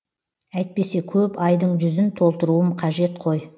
әйтпесе көп айдың жүзін толтыруым қажет қой